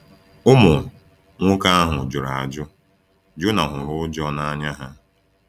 Ụmụ nwoke ahụ jụrụ ajụ; Jona hụrụ ụjọ na anya ha.